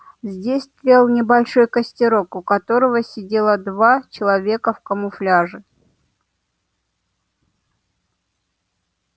здесь тлел небольшой костерок у которого сидело два человека в камуфляже